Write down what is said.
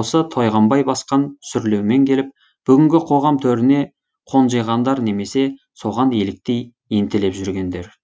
осы тойғанбай басқан сүрлеумен келіп бүгінгі қоғам төріне қонжиғандар немесе соған еліктей ентелеп жүргендер